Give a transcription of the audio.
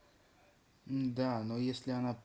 да но если она